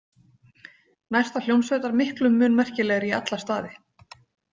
Næsta hljómsveit var miklu mun merkilegri í alla staði.